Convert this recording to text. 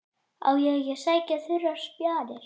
Á ég ekki að sækja þurrar spjarir?